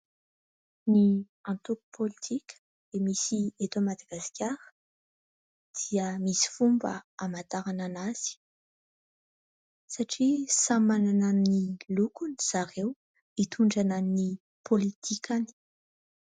Ny antoko pôlitika misy eto Madagasikara dia misy fomba hamantarana an'azy, satria samy manana ny lokony zareo hitondrana ny pôlitikany.